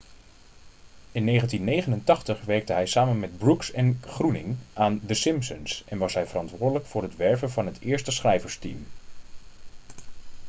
in 1989 werkte hij samen met brooks en groening aan the simpsons en was hij verantwoordelijk voor het werven van het eerste schrijversteam